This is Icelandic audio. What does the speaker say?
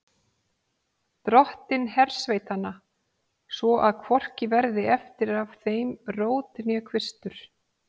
Dottinn hersveitanna, svo að hvorki verði eftir af þeim rót né kvistur.